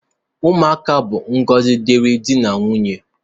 Ụmụaka bụ ngọzi diri di na nwunye